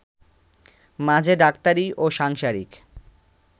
মাঝে ডাক্তারি ও সাংসারিক